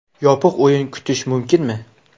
Yopiq o‘yin kutish mumkinmi?